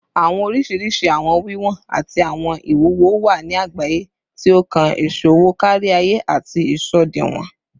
Awọn oriṣiriṣi awọn wiwọn ati awọn iwuwo wa ni agbaye, ti o kan iṣowo kariaye ati isọdiwọn